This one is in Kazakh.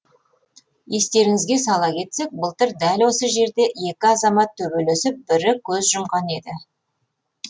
естеріңізге сала кетсек былтыр дәл осы жерде екі азамат төбелесіп бірі көз жұмған еді